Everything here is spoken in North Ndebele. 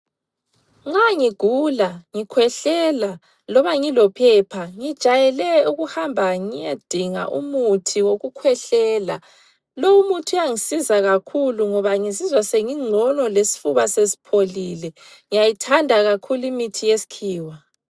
Nxa ngigula, ngikhwehlela loba ngilophepha ngijayele ukuhamba ngiyedinga umuthi wokukhwehlela. Lowumuthi uyangisiza kakhulu ngoba ngizizwa sengingcono lesfuba sesipholile. Ngiyayithanda kakhulu imithi yeskhiwa.